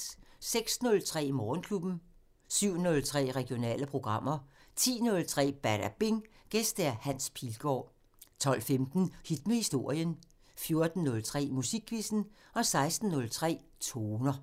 06:03: Morgenklubben 07:03: Regionale programmer 10:03: Badabing: Gæst Hans Pilgaard 12:15: Hit med historien 14:03: Musikquizzen 16:03: Toner